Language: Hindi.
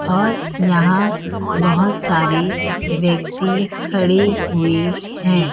और यहाँ बहोत सारी व्यक्ति खड़े हुए हैं।